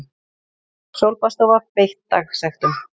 Sólbaðsstofa beitt dagsektum